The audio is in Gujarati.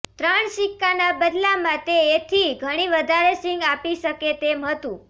ત્રણ સિક્કાના બદલામાં તે એથી ઘણી વધારે સીંગ આપી શકે તેમ હતું